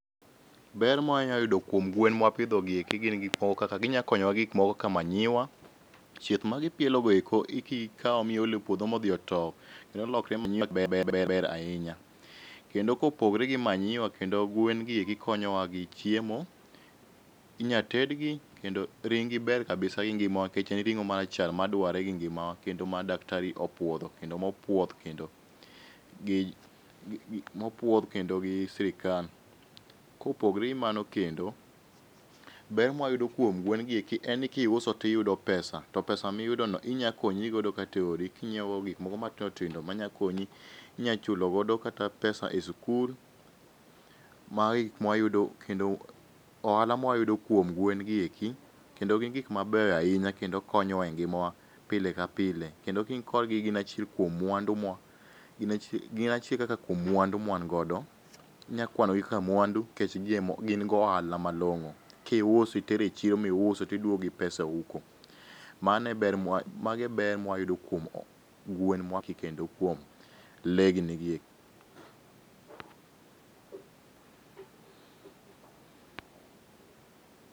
Ber ma wanyalo yudo kuom gwen mawapidhogi eki gin gik moko kaka ginyalo konyowa gi gik moko kaka manyiwa, chieth magi pielogo eko kikawo miolo epuodho modhi otow, nyalo lokore manyiwa maber ber ber ahinya. Kendo kopogore gi manyiwa, kendo gwen gieki konyowa gi chiemo. Inyalo tedgi kendo ring gi ber kabisa gi ngimawa nikech en ring'o marachar ma dwarre gi ngimawa, kendo ma daktari opuodho kendo mopuodh kendo gi mopuodh kendo gi sirikal. Kopogore gi mano kendo, ber ma wayudo kuom guen gi eki en ni kiuso to iyudo pesa to pesa miyudono inyalo konyri godo kata eodi king'iewo go gik moko matindo tindo manyalo konyi. Inyalo chulo godo kata pesa e sikul, magi e gik mawayudo kendo ohala mawayudo kuom gwen gieki, kendo gin gik mabeyo ahinya kendo konyowa e ngimawa pile ka pile. Kendo ka in kodgi gin achiel kuom mwandu ma gin achiel kaka kuom mwandu mawan godo. Inyalo kwanogi kaka mwandu nikech gin gi ohala malong'o. Kiusi, itero echiro miuso to iduogo gi pesa e ofuko, mano e ber mwa mago e ber mawayudo kuom gwendwa gi kendo kuom lee gini giek.